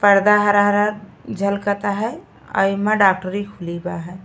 पर्दा हरा-हरा झलकता है और इमा डॉक्टरी खुली ब है।